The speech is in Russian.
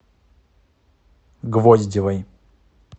гвоздевой